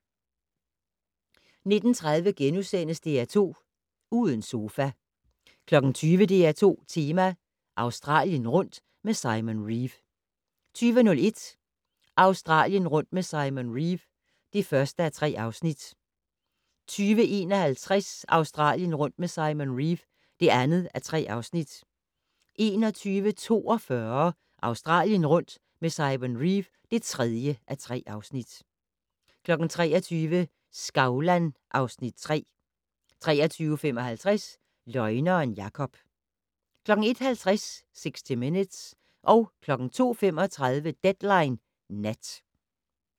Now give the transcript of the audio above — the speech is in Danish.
19:30: DR2 Uden sofa * 20:00: DR2 Tema - Australien rundt med Simon Reeve 20:01: Australien rundt med Simon Reeve (1:3) 20:51: Australien rundt med Simon Reeve (2:3) 21:42: Australien rundt med Simon Reeve (3:3) 23:00: Skavlan (Afs. 3) 23:55: Løgneren Jakob 01:50: 60 Minutes 02:35: Deadline Nat